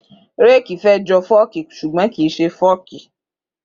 Rẹki fẹ jọ fọki súgbòn kín sẹ fọki